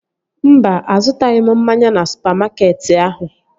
Mba, azụtaghị m mmanya na supamakeetị ahụ